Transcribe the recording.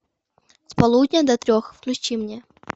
с полудня до трех включи мне